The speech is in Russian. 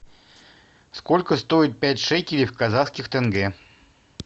сколько стоит пять шекелей в казахских тенге